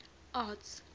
arts